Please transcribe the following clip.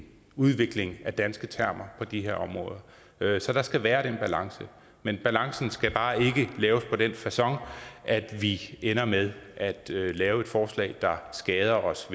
udvikling af danske termer på de her områder så der skal være den balance men balancen skal bare ikke laves på den facon at vi ender med at lave et forslag der skader os